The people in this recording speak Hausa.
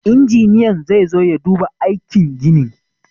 Injiniyan zai zo ya duba aikin ginin.